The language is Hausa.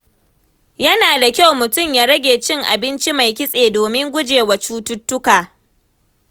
Yana da kyau mutum ya rage cin abinci mai kitse domin gujewa cututtuka.